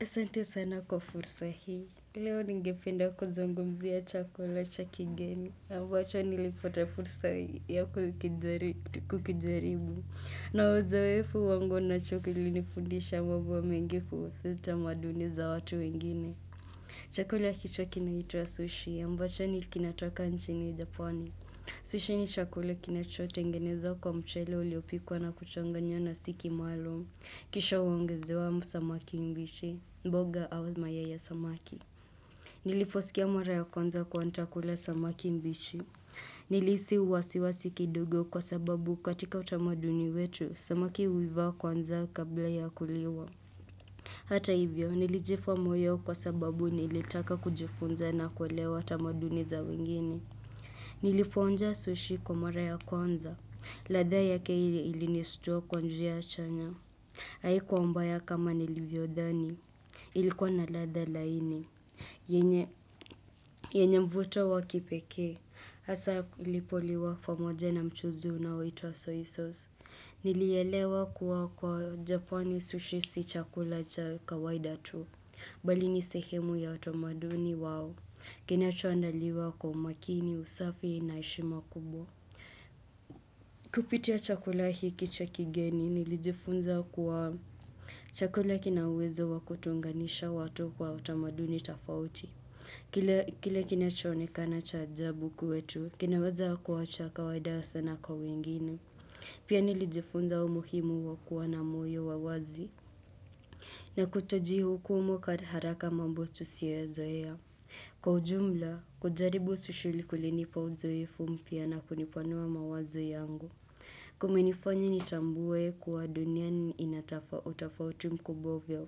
Asante sana kwa fursa hii, leo ngependa kuzungumzia chakula chakigeni, ambacho nilipote fursa hii kukijaribu, nauzaoefu wangu na chakula ili nifundisha mambo mengi kusuhu utamaduni za watu wengine. Chakula hicho kina hituwa sushi ambacho ni kinatoka nchini Japani. Sushi ni chakula kinachotengenezwa kwa mchele uliopikwa na kuchonganywa na siki malo. Kisha uongezewa msamaki mbishi, mboga au mayai ya samaki. Niliposikia mara ya kwanza kuwa nitakula samaki mpishi. Nilihisi wasiwasi kidogo kwa sababu katika utamaduni wetu, samaki uivaa kwanza kabla ya kuliwa. Hata hivyo, nilijipo moyo kwa sababu nilitaka kujifunza na kwelewa tamaduni za wengine. Nilipo unja sushi kwa mara ya kwanza. Ladha ya keili ilinistua kwa njia chanya. Haikuwa mbaya kama nilivyo dhani. Ilikuwa na ladha laini. Yenye mvuto wa kipeke. Asa ilipo liwa kwa moja na mchuzi inayoitwa soy sauce. Niliyelewa kuwa kwa japani sushi si chakula cha kawaida tu. Bali ni sehemu ya otamaduni wao, kini achuandaliwa kwa makini usafi na heshima kubwa. Kupitia chakula hiki cha kigeni nilijifunza kwa chakula kinawezo wakutunganisha watu kwa otamaduni tofauti. Kile kini achuonekana cha ajabu kwetu, kinaweza kuwa cha kawaida sana kwa wengine. Pia nilijifunza umuhimu wa kuwa na moyo wa wazi. Na kutoji hukumu kataharaka mambo tusioyazoea. Nilisi uwasiwasi kidogo kwa sababu katika utamaduni wetu, samaki uivaa kwanza kabla ya kuliwa. Hata hivyo, nilijipa moyo kwa sababu nilitaka kujifunza na kwelewa tamaduni za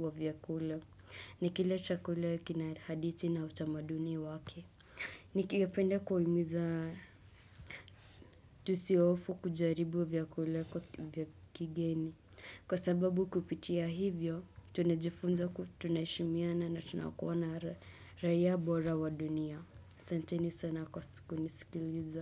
wengine. Ni kila chakula kina haditi na utamaduni wake. Nikiwapenda kuhumiza tusiofu kujaribu vyakula vya kigeni. Kwa sababu kupitia hivyo, tunajifunza kutunashimiana na tunakuwana raia bora wa dunia. Ni kila chakula kina haditi na utamaduni wake.